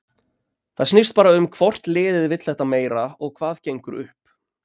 Það snýst bara um hvort liðið vill þetta meira og hvað gengur upp.